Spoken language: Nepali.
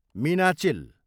मीनाचिल